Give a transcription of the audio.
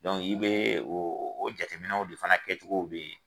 Dɔnku i bɛ o jateminɛw de fana kɛcogo bɛ yen.